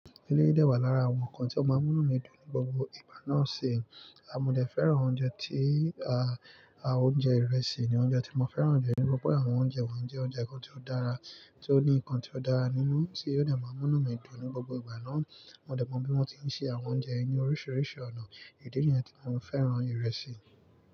Eleyii dẹ́ wà lára àwọn nǹkan tí ó máa ń múnú mi dùn ní gbogbo ìgbà náà sì. A mo dẹ̀ fẹ́ràn oúnjẹ tí à á oúnjẹ ìrẹsì ni oúnjẹ tí mo fẹ́ràn jẹ tori pe àwọn oúnjẹ wọ́nyii jẹ́ oúnjẹ kan tí ó dára, tí ó ní nǹkan tí ó dára nínú tí o dẹ̀ máa múnú mi dùn ní gbogbo ìgbà náà. Mo dẹ̀ mọ bí wọ́n ti ń ṣe àwọn oúnjẹ yii ni oríṣiríṣi ọ̀nà idi niyen tí mo fẹ́ràn ìrẹsì.